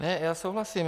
Ne, já souhlasím.